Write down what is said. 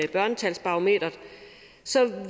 børnesagsbarometeret